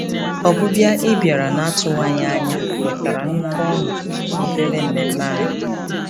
Ọbịbịa ị bịara n'atụwaghị anya wetara nnukwu ọṅụ n'obere mmemme anyị.